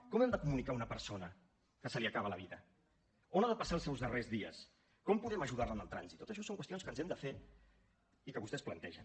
com hem de comunicar a una persona que se li acaba la vida on ha de passar els seus darrers dies com podem ajudar la en el trànsit tot això són qüestions que ens hem de fer i que vostès plantegen